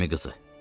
Əmiqızı.